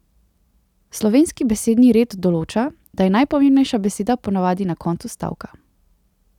Slovenski besedni red določa, da je najpomembnejša beseda po navadi na koncu stavka.